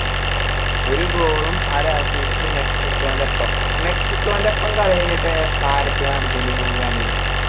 ഒരു goal ഉം ഒര assist ഉം മെക്സിക്കോന്റെ ഒപ്പം ആ മെക്സിക്കോന്റെപ്പം കളി കഴിഞ്ഞിട്ട് ആരൊക്കെയാ അർജൻറീനക്ക് കളി